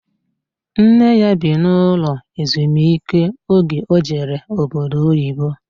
Nne ya bi n'ụlọ ezumiike oge o jere obodo oyibo